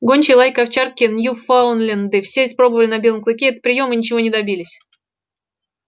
гончие лайки овчарки ньюфаундленды все испробовали на белом клыке этот приём и ничего не добились